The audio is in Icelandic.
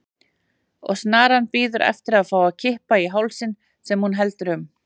Og snaran bíður eftir að fá að kippa í hálsinn sem hún heldur um.